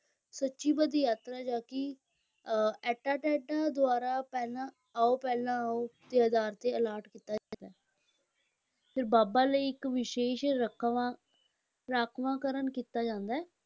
ਸੂਚੀਬੱਧ ਯਾਤਰੀ ਜਾਂ ਕਿ ਅਹ ਅਟੈਂਡੈਂਟਾਂ ਦੁਆਰਾ ਪਹਿਲਾਂ ਆਓ-ਪਹਿਲਾਂ ਆਓ ਦੇ ਆਧਾਰ 'ਤੇ allot ਕੀਤਾ ਜਾਂਦਾ ਹੈ ਫਿਰ ਬਾਬਾ ਲਈ ਇੱਕ ਵਿਸ਼ੇਸ਼ ਰਾਂਖਵਾਂ ਰਾਖਵਾਂਕਰਨ ਕੀਤਾ ਜਾਂਦਾ ਹੈ,